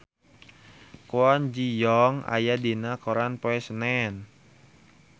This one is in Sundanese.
Kwon Ji Yong aya dina koran poe Senen